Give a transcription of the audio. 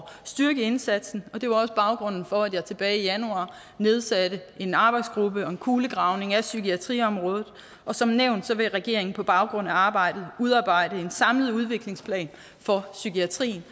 at styrke indsatsen og det var også baggrunden for at jeg tilbage i januar nedsatte en arbejdsgruppe og en kulegravning af psykiatriområdet og som nævnt vil regeringen på baggrund af arbejdet udarbejde en samlet udviklingsplan for psykiatrien